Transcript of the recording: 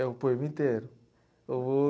É o poema inteiro. Eu vou